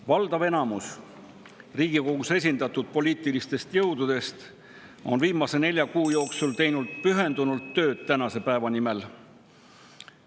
Valdav osa Riigikogus esindatud poliitilistest jõududest on viimase nelja kuu jooksul teinud pühendunult tööd tänase päeva nimel.